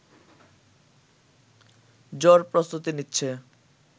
জোর প্রস্তুতি নিচ্ছে